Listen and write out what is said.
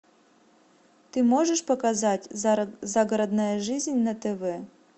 ты можешь показать загородная жизнь на тв